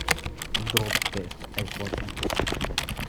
дроп тест айфон